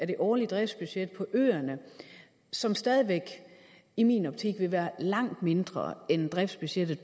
det årlige driftsbudget på øerne som stadig væk i min optik vil være langt mindre end driftsbudgettet